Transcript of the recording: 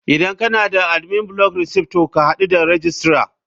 Idan kana da admin block receipt to ka hadu da registrar.